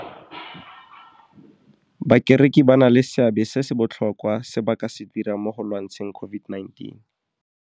Bakereki ba na le seabe se se botlhokwa se ba ka se dirang mo go lwantsheng COVID-19.